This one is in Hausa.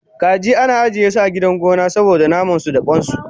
Kaji ana ajiyesu a gona saboda namansu da kwansu